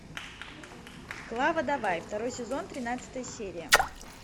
клава давай второй сезон тринадцатая серия